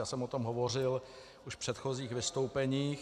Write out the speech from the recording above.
Já jsem o tom hovořil už v předchozích vystoupeních.